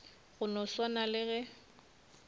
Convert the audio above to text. go no swana le ge